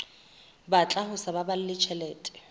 batla ho sa baballe tjhelete